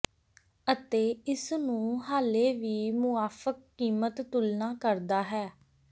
ਅਤੇ ਇਸ ਨੂੰ ਹਾਲੇ ਵੀ ਮੁਆਫਕ ਕੀਮਤ ਤੁਲਨਾ ਕਰਦਾ ਹੈ